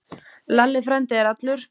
Lalli frændi er allur.